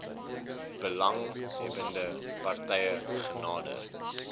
belanghebbende partye genader